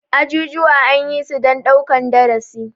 Ajujuwa anyisu dan ɗaukan darasi.